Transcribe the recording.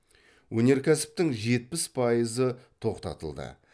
өнеркәсіптің жетпіс пайызы тоқтатылды